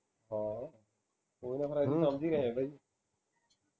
ਹਾਂ ਸਮਝ ਹੀ ਰਹੇ ਬਈ